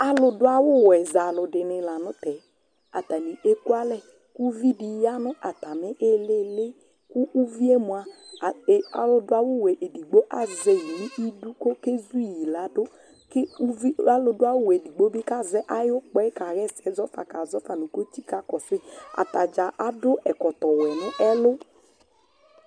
ãlụɗụɑwũ wũɛ zɑlụɗiṅilɑtɛ ɛkụɑlɛ kũviɗiyɑ ɲɑtɑmiiliili ɑlʊɗuɑwω wụɛ ku ʊviɛ mụɑ ɑlʊ ɗụɑwωwẽ ɛɗigbọ ɑzẽkɔkéṛĩɗʊ kɔkɛzuïlɑɗụ kɔluɗụɑwω wẽɗigbọ kɑzɛ ɑyukpɑyɛ kɑhésɛzɔfɑ kɑzɔfɑ nu kọtsikɑkɔsui ɑtɑdzɑ ɑɗʊ ɛkɔtɔwẽ ɲɛlω